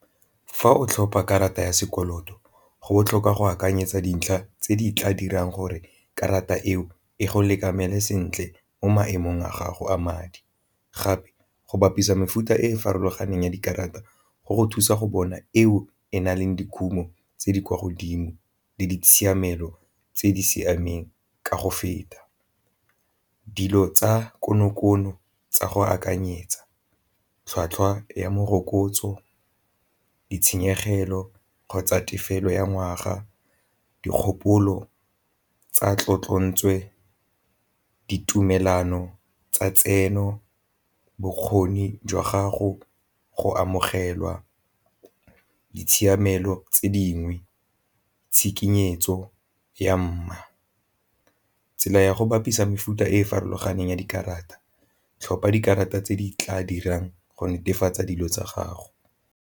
Fa o tlhopa karata ya sekoloto go botlhokwa go akanyetsa dintlha tse di tla dirang gore karata eo e go sentle mo maemong a gago a madi, gape go bapisa mefuta e e farologaneng ya dikarata go go thusa go bona eo e na leng dikhumo tse di kwa godimo le di tshiamelo tse di siameng ka go feta. Dilo tsa kono-kono tsa go akanyetsa tlhwatlhwa ya morokotso, ditshenyegelo kgotsa tefelo ya ngwaga, dikgopolo tsa ditumelano tsa tseno, bokgoni jwa gago, go amogelwa ditshiamelo tse dingwe, tshikinyo setso ya . Tsela ya go bapisa mefuta e e farologaneng ya dikarata, tlhopha dikarata tse di tla dirang go netefatsa dilo tsa gago.